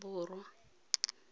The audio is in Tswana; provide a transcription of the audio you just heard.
borwa